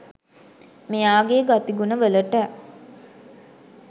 මෙයාගෙ ගතිගුණ වලට